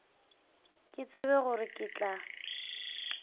ke tsebe gore ke tla